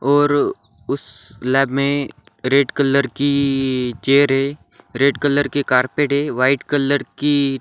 और उस लैब में रेड कलर की चेयर है रेड कलर के कारपेट है वाइट कलर की--